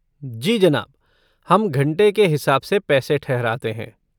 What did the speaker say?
जी जनाब, हम घंटे के हिसाब से पैसे ठहराते हैं।